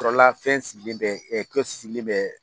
Yɔrɔla fɛn sigilen bɛ ɛ sigilen bɛ